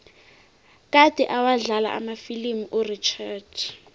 kade awadlala amafilimu urichard